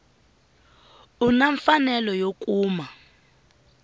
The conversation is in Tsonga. u na mfanelo yo kuma